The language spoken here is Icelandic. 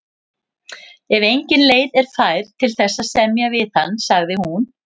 Ef engin leið er fær til þess að semja við hann, sagði hún.